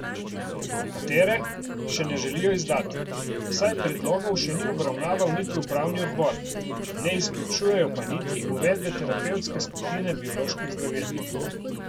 Katere, še ne želijo izdati, saj predlogov še ni obravnaval niti upravni odbor, ne izključujejo pa niti uvedbe terapevtske skupine bioloških zdravil.